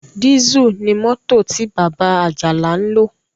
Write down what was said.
Dísù ní mọ́tò tí bàbá Àjàlá ń lò.